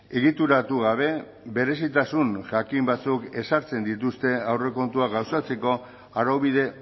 egituratu gabe berezitasun jakin batzuk ezartzen dituzte aurrekontua gauzatzeko araubide